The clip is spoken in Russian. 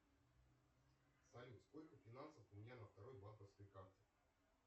салют сколько финансов у меня на второй банковской карте